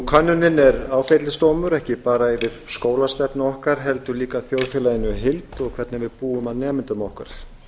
könnunin er áfellisdómur ekki bara yfir skólastefnu okkar heldur líka þjóðfélaginu í heild og hvernig við búum að nemendum okkar